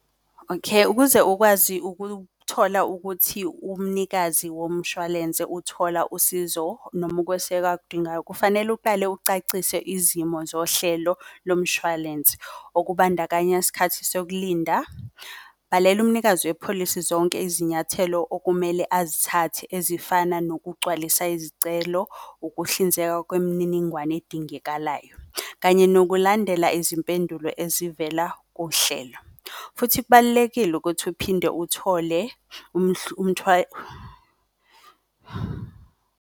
Okay, ukuze ukwazi ukuthola ukuthi umnikazi womshwalense uthola usizo noma ukweseka akudingayo. Kufanele uqale ucacise izimo zohlelo lomshwalense. Okubandakanya skhathi sokulinda, balela umnikazi wepholisi zonke izinyathelo okumele azithathe. Ezifana nokugcwalisa izicelo, ukuhlinzeka kwemininingwane edingekalayo kanye nokulandela izimpendulo ezivela kuhlelo. Futhi kubalulekile ukuthi uphinde uthole .